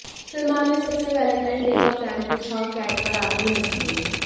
सलमान ने सबसे Valentine day का प्लान पूछा और कैट पर आते ही हंस दिए